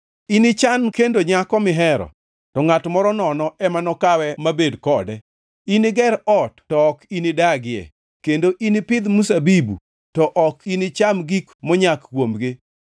Inichan kendo nyako mihero, to ngʼat moro nono ema nokawe mabed kode. Iniger ot to ok inidagie, kendo inipidh mzabibu to ok inicham gik monyak kuomgi.